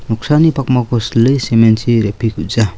noksani pakmako sile cement-chi repekuja .